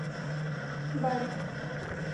бари